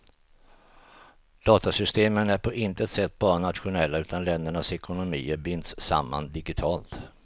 Datasystemen är på intet sätt bara nationella utan ländernas ekonomier binds samman digitalt.